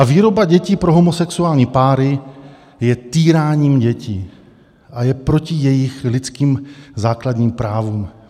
A výroba dětí pro homosexuální páry je týráním dětí a je proti jejich lidským základním právům.